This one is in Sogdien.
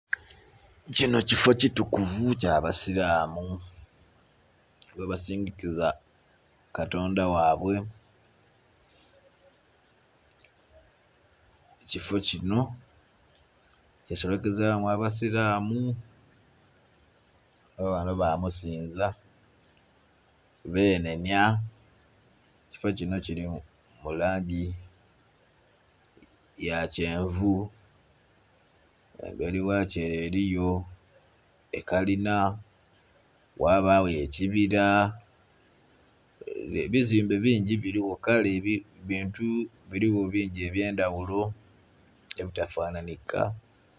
Kino kifoo kitukuvu kyabasiramu mwebasinzikiza katonda wabwe, kifoo kino kyesolokezamu abasiramu babamuno bamusinza benhenhya. Ekifo kino kiri mulangi yakyenvu emberi wakyo ere eriyo ekalinha ghabayo ekibira, ebizimbe bingi birigho kale bintu birigho bingi ebyendaghulo ebitafanhanhika.